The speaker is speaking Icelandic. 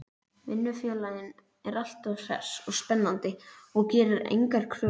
Vinnufélaginn er alltaf hress og spennandi og gerir engar kröfur.